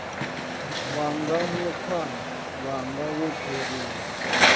wanga mukhwama wanga wo kheruwa